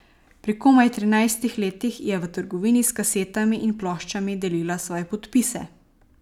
Pri komaj trinajstih letih je v trgovini s kasetami in ploščami delila svoje podpise.